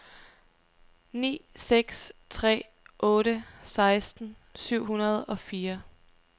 ni seks tre otte seksten syv hundrede og fire